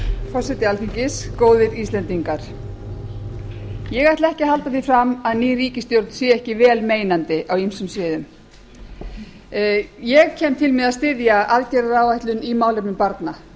forseti alþingis góðir íslendingar ég ætla ekki að halda því fram að ný ríkisstjórn sé ekki vel meinandi á ýmsum sviðum ég kem til með að styðja aðgerðaáætlun í málefnum barna